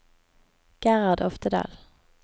Gerhard Oftedal